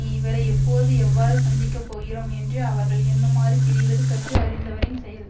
இவரை எப்போது எவ்வாறு சந்திக்க போகிறோம் என்று அவர்கள் எண்ணுமாறு பிரிவது கற்று அறிந்தவரின் செயல்